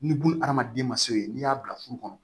Ni buna adamaden ma se yen n'i y'a bila furu kɔnɔ